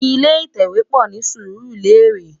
Ilé itèwé pò ni Surulere